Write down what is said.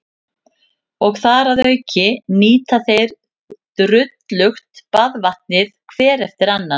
Og þar að auki nýta þeir drullugt baðvatnið hver eftir annan.